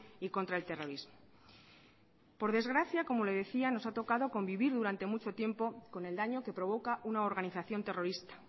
y contra el terrorismo por desgracia como le decía nos ha tocado convivir durante mucho tiempo con el daño que provoca una organización terrorista